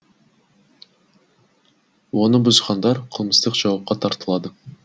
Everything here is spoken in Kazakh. оны бұзғандар қылмыстық жауапқа тартылады